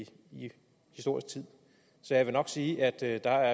historisk tid så jeg vil nok sige at der